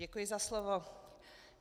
Děkuji za slovo.